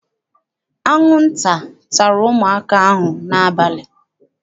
Anwụnta tara ụmụaka ahụ n'abalị.